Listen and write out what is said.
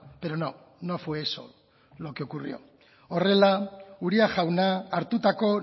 pero no no fue eso lo que ocurrió horrela uria jauna hartutako